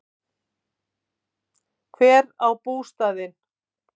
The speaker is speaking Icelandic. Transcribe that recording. Hver á bústaðinn?